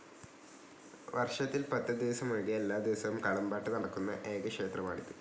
വർഷത്തിൽ‌ പത്ത് ദിവസമൊഴികെ എല്ലാദിവസവും കളംപാട്ട് നടക്കുന്ന ഏക ക്ഷേത്രമാണിത്.